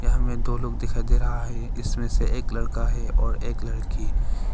यहां में दो लोग दिखाई दे रहा है इसमें से एक लड़का है और एक लड़की।